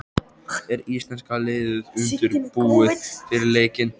Er íslenska liðið undirbúið fyrir leikinn?